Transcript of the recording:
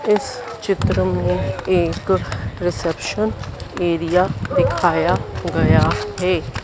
इस चित्र में एक रिसेप्शन एरिया दिखाया गया है।